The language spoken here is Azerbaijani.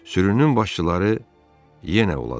Sürünün başçıları yenə uladılar.